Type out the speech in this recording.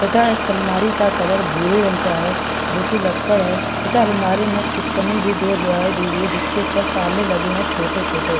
तथा इस अलमाड़ी का कलर भूरे रंग का है जो कि लक्कड़ है तथा अलमाड़ी में चुटकने भी दो लगाई दिखाई दे रही है जिसके ऊपर ताले लगे हुए हैं छोटे छोटे --